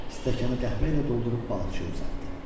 Stəkanı qəhvə ilə doldurub balıqçıya uzatdı.